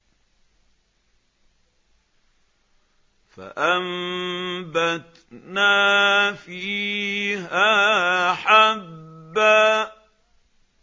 فَأَنبَتْنَا فِيهَا حَبًّا